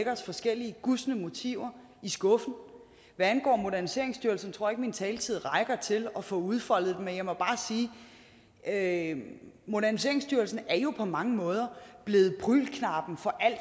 os forskellige gustne motiver i skoene hvad angår moderniseringsstyrelsen tror jeg ikke min taletid rækker til at få udfoldet det men jeg må bare sige at moderniseringsstyrelsen jo på mange måder er blevet prügelknabe for alt